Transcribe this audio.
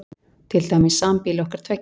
Til dæmis sambýli okkar tveggja.